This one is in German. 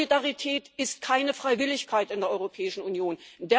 Solidarität ist keine Freiwilligkeit in der Europäischen Union.